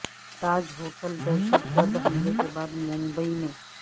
تاج hotel دہشت گرد حملے کے بعد ممبئی میں